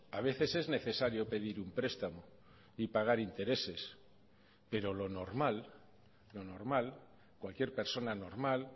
a veces es necesario pedir un prestamo y pagar intereses pero lo normal lo normal cualquier persona normal